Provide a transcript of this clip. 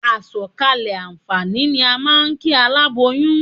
A sọ̀kalẹ̀ àǹfààní ni à ń kí aláboyún.